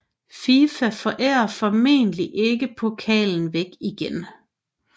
FIFA forærer formentlig ikke pokalen væk igen